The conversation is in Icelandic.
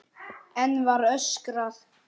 Enn var öskrað.